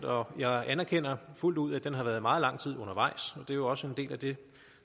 og jeg anerkender fuldt ud at den har været meget lang tid undervejs og det er jo også en del af det